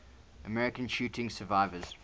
american shooting survivors